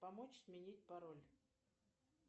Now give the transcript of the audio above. помочь сменить пароль